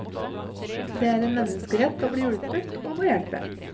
Det er en menneskerett å bli hjulpet, og å hjelpe.